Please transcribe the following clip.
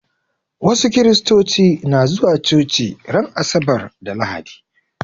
Wasu Kiristoci na zuwa coci ran asabar da lahadi